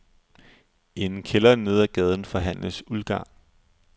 I en kælder nede af gaden forhandles uldgarn.